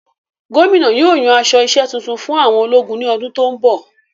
Gómìnà yóò yan aṣọ isẹ́ tuntun fún àwọn ológun ní ọdún tó n bọ